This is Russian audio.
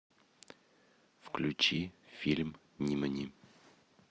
включи фильм нимани